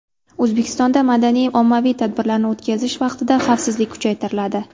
O‘zbekistonda madaniy-ommaviy tadbirlarni o‘tkazish vaqtida xavfsizlik kuchaytiriladi.